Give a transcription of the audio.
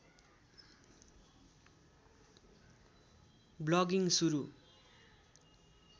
vlogging सुरु